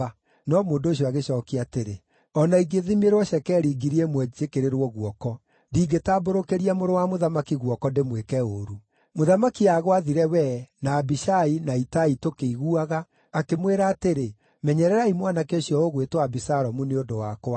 No mũndũ ũcio agĩcookia atĩrĩ, “O na ingĩthimĩrwo cekeri ngiri ĩmwe njĩkĩrĩrwo guoko, ndingĩtambũrũkĩria mũrũ wa mũthamaki guoko ndĩmwĩke ũũru. Mũthamaki aagwathire wee, na Abishai, na Itai tũkĩiguaga, akĩmwĩra atĩrĩ, ‘Menyererai mwanake ũcio ũgwĩtwo Abisalomu nĩ ũndũ wakwa.’